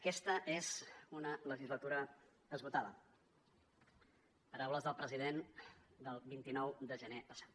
aquesta és una legislatura esgotada paraules del president del vint nou de gener passat